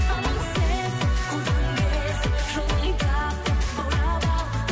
алың сен қолдан келсе жолын тап баурап ал